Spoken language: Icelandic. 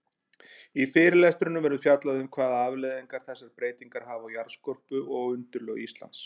Í fyrirlestrinum verður fjallað um hvaða afleiðingar þessar breytingar hafa á jarðskorpu og undirlög Íslands.